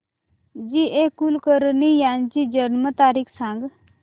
जी A Kulkarni यांची जन्म तारीख सांग